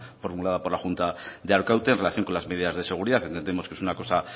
formulada por la junta de arkaute en relación con las medidas de seguridad entendemos que es una cosa